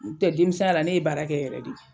N' u tɛ denmisɛn ya la ne ye baara kɛ yɛrɛ de.